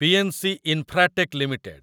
PNC Infratech limited